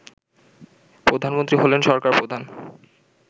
প্রধানমন্ত্রী হলেন সরকারপ্রধান